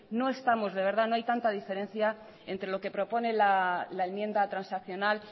no estamos de verdad no hay tanta diferencia entre lo que propone la enmienda transaccional